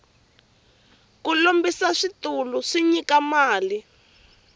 ku lombisa switulu swi nyika mali